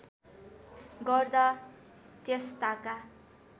गर्दा त्यस ताका